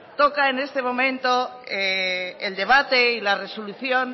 toca en este momento el debate y la resolución